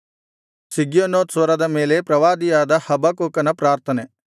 ಶಿಗ್ಯೋನೋತ್ ಸ್ವರದ ಮೇಲೆ ಪ್ರವಾದಿಯಾದ ಹಬಕ್ಕೂಕನ ಪ್ರಾರ್ಥನೆ